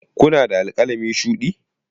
Kuna da alƙalami shuɗi?